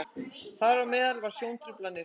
þar á meðal eru sjóntruflanir